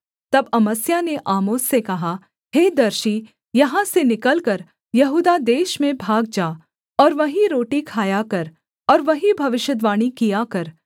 तब अमस्याह ने आमोस से कहा हे दर्शी यहाँ से निकलकर यहूदा देश में भाग जा और वहीं रोटी खाया कर और वहीं भविष्यद्वाणी किया कर